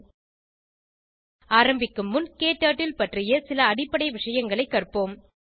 httpspoken tutorialorg ஆரம்பிக்கும் முன் க்டர்ட்டில் பற்றிய சில அடிப்படை விஷயங்களைக் கற்போம்